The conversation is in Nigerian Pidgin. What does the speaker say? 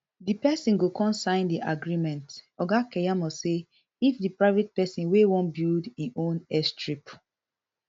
di pesin go con sign di agreement oga keyamo say if di private pesin wey wan build im own airstrip